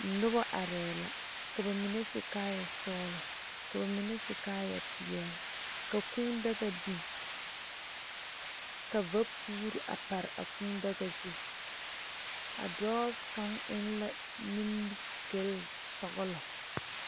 Nobɔ arɛɛ la ka ba mine su kaayɛ sɔglɔ ka ba mine su kaayɛ peɛle ka kūū daga biŋ ka vapuure a pare a kūū daga zu a dɔɔ kaŋ eŋ la nimigyile sɔglɔ.